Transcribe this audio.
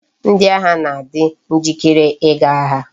Ndi agha na adi njikere i ga agha